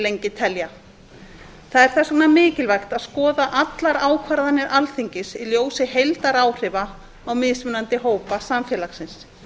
lengi telja það er þess vegna mikilvægt að skoða allar ákvarðanir alþingis í ljósi heildaráhrifa á mismunandi hópa samfélagsins